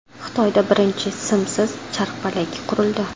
Xitoyda birinchi simsiz charxpalak qurildi.